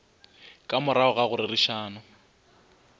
ka morago ga go rerišana